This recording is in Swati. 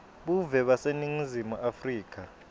buve baseningizimu afrika